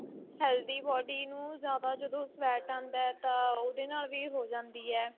healthy body ਨੂੰ ਜਿਆਦਾ ਜਦੋਂ fat ਆਂਦਾ ਤਾਂ ਉਹਦੇ ਨਾਲ ਵੀ ਹੋ ਜਾਂਦੀ ਏ.